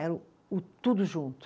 Era o o tudo junto.